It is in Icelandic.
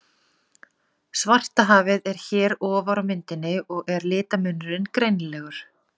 Svartahafið er hér ofar á myndinni og er litamunurinn greinilegur.